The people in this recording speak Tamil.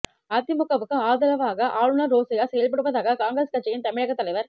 அதிமுக வுக்கு ஆதரவாக ஆளுநர் ரோசையா செயல்படுவதாக காங்கிரஸ் கட்சியின் தமிழகத் தலைவர்